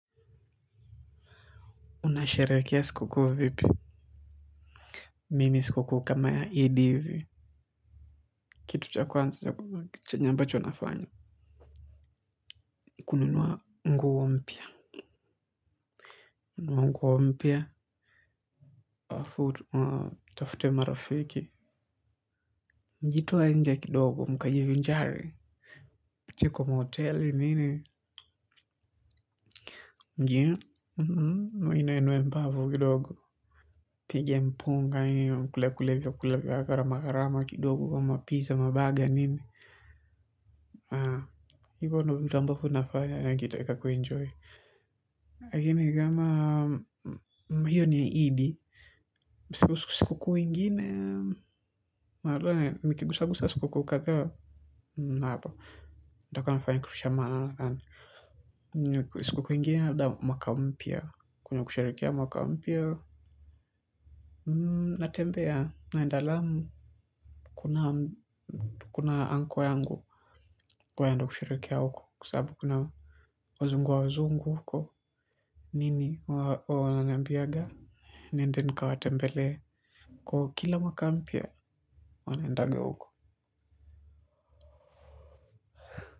Unasherehekea sikukuu vipi, mimi sikukuu kama ya ED hivi, kitu cha kwanza chenye ambacho nafanya, kununua nguo mpya. Nitafute marafiki, tujitoe nje kidogo tukajivinjari, tupitie kwa mahoteli nini. Njia, muinueinue mbavu kidogo, mpige mpunga, mkule kule vyakula vya gharama gharamakidogo kama pizza, mabaga nini, hivyo ndivyo vitu ambavyo nafaya nikitaka kujienjoy. Lakini kama, hiyo ni ED Sikukuu ingine, mara, nikigusa gusa sikukuu kadhaa. Mwapa, daka nafaya nkirusha maana lakani. Siku kuingine habda mwaka mpia, kunya kusharekia mwaka mpia. Natembea, naenda Lamu, kuna UNCLE yangu. Kwa yando kusharekia wako, kusabu kuna wazungu wa wazungu. Nini wa wanambiaga, nende nukawate mbele, kwa kila makampia wanendaga uko.